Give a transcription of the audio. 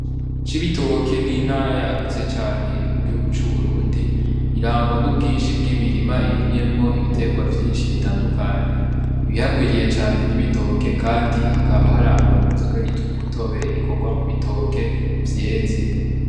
Cibitoke n'intara yagutse cane iri mu gihugu c'Uburundi, irangwa n'ubwinshi bw'imirima irimyemwo ibitegwa vyinshi bitandukanye, ibihagwiriye cane n'ibitoke kandi hakaba harangwa n'inzoga yitwa umutobe ikorwa mu bitoke vyeze.